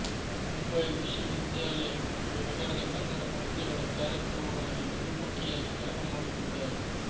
ಮುಂಬಯಿ ವಿಶ್ವವಿದ್ಯಾಲಯ ಮತ್ತು ನಗರದ ಕನ್ನಡ ಸಂಸ್ಥೆಗಳ ಕಾರ್ಯಕ್ರಮಗಳಲ್ಲಿ ನಿರೂಪಕಿಯಾಗಿ ಕೆಲಸಮಾಡುತ್ತಿದ್ದಾರೆ